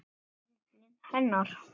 Karlinn hennar.